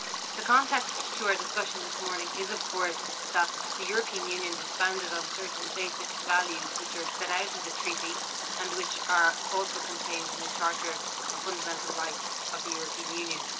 The context to our discussion this morning is of course that the European Union is founded on certain basic values which are set out in the Treaty, and which are also contained in the Charter of Fundamental Rights of the European Union.